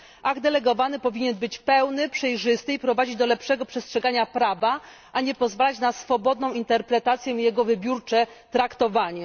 Akt delegowany powinien być pełny, przejrzysty i prowadzić do lepszego przestrzegania prawa, a nie pozwalać na swobodną interpretację i jego wybiórcze traktowanie.